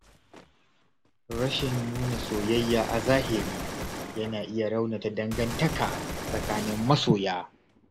Rashin nuna soyayya a zahiri yana iya raunata dangantaka tsakanin masoya.